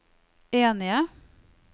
enige